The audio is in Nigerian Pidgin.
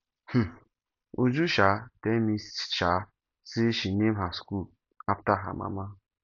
um uju um tell me um say she name her school after her mama